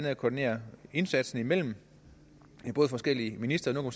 at koordinere indsatsen mellem forskellige ministre nu